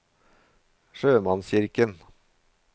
sjømannskirken